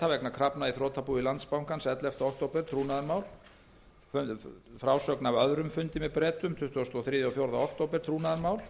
vegna krafna í þrotabúi landsbankans ellefta október trúnaðarmál og frásögn af öðrum fundi með bretum tuttugasta og þriðja og tuttugasta og fjórða október trúnaðarmál